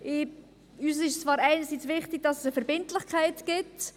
Uns ist es zwar einerseits wichtig, dass es eine Verbindlichkeit gibt.